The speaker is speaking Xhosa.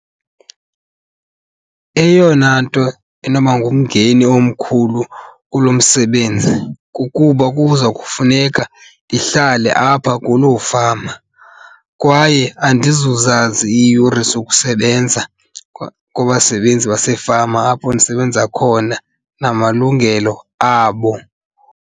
Eyona nto enoba ngumngeni omkhulu kulo msebenzi kukuba kuza kufuneka ndihlale apha kuloo fama kwaye andizuzazi iiyure zokusebenza kwabasebenzi basefama apho ndisebenza khona namalungelo abo.